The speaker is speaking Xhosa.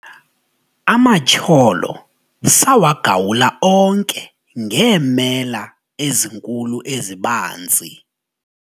amatyholo sawagawula onke ngeemela ezinkulu ezibanzi